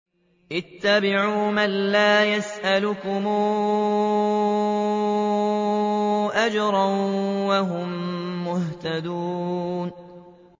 اتَّبِعُوا مَن لَّا يَسْأَلُكُمْ أَجْرًا وَهُم مُّهْتَدُونَ